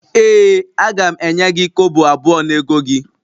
Ee a ga m enye gi kobo abuo n'ego gi